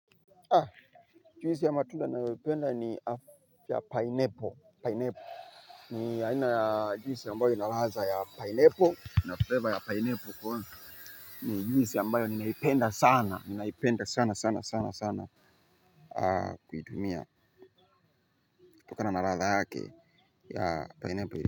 Juhisi ya matunda naipenda ni ya pineapple. Ni ya ina ya juhisi ambayo inalaza ya pineapple Nafleva ya pineapple kwa ni juhisi ambayo ninaipenda sana ninaipenda sana sana sana sana kuitumia. Tokana naraza yake ya pineapple.